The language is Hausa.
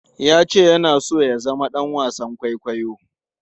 Ya ce yana so ya zama ɗan wasan kwaikwayo.